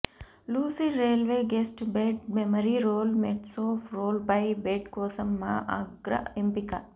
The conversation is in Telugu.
lucid rollaway guest bed memory roll మెట్స్తో రోల్ వే బెడ్ కోసం మా అగ్ర ఎంపిక